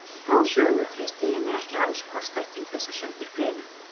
Þá sögu treysti ég mér ekki alls kostar til þess að sundurgreina.